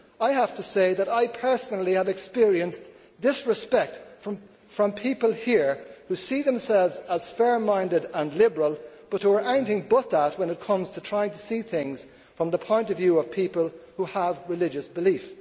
I have to say that I personally have experienced disrespect from people here who see themselves as fair minded and liberal, but who are anything but that when it comes to trying to see things from the point of view of people who have religious belief.